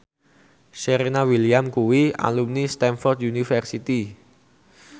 Serena Williams kuwi alumni Stamford University